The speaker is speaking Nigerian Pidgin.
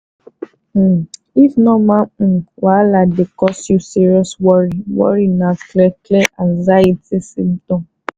um if normal um wahala dey cause you serious worry worry na clear clear anxiety symptom.